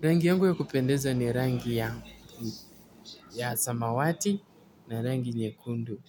Rangi yangu ya kupendeza ni rangi ya samawati na rangi nyekundu.